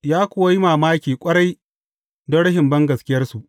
Ya kuwa yi mamaki ƙwarai don rashin bangaskiyarsu.